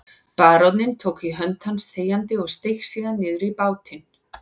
Baróninn tók í hönd hans þegjandi og steig síðan niður í bátinn.